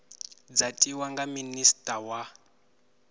dza tiwa nga minista wa